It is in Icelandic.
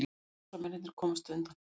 Árásarmennirnir komust undan